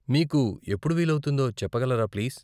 మీకు ఎప్పుడు వీలవుతుందో చెప్పగలరా ప్లీజ్ ?